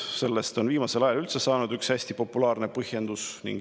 Sellest on viimasel ajal üldse saanud üks hästi populaarne põhjendus.